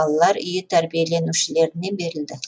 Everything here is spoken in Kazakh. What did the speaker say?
балалар үйі тәрбиеленушілеріне берілді